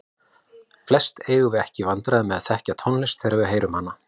Flest eigum við ekki í vandræðum með að þekkja tónlist þegar við heyrum hana.